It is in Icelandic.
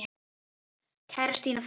Kæra Stína frænka.